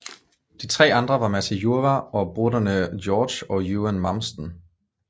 De tre andre var Matti Jurva og bröderna Georg og Eugen Malmstén